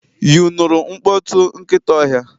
You nụrụ mkpọtụ nkịta ọhịa?